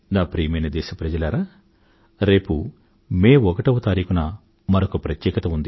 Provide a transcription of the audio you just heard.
ప్రియమైన నా దేశప్రజలారా రేపు మే ఒకటవ తారీఖున మరొక ప్రత్యేకత ఉంది